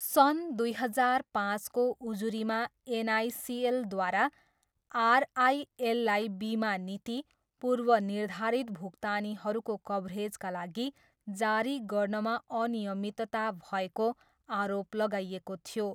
सन् दुई हजार पाँचको उजुरीमा एनआइसिएलद्वारा आरआइएललाई बिमा नीति, पूर्वनिर्धारित भुक्तानीहरूको कभरेजका लागि जारी गर्नमा अनियमितता भएको आरोप लगाइएको थियो।